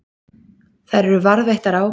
Þær eru varðveittar á